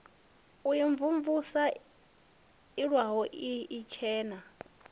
u imvumvusa iwalo ii itshena